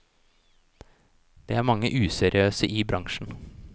Det er mange useriøse i bransjen.